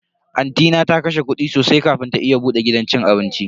Anti na ta kashe kudi sosai kafin ta iya bude gidan cin abinci.